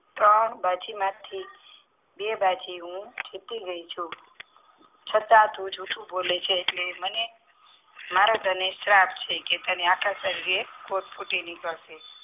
ત્રણ બાજીમાં થી બે બાજુ હું જીતી ગઈ છું છતાં તું જૂઠું બોલે છે એટલે મને મારે તને શ્રાપ છે કે તને આખા શરીરે ફૂટી નીકળશે